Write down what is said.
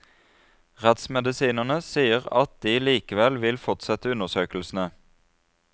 Rettsmedisinerne sier at de likevel vil fortsette undersøkelsene.